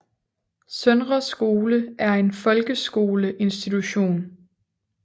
Søndre Skole Er en Folkeskole Institution